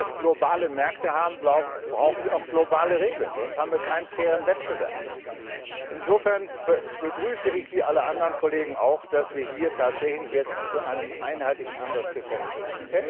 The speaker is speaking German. Denn wo wir globale Märkte haben, brauchen wir auch globale Regeln, sonst haben wir keinen fairen Wettbewerb. Insofern begrüße ich, wie alle anderen Kollegen auch, dass wir hier tatsächlich jetzt zu einem einheitlichen Ansatz gekommen sind.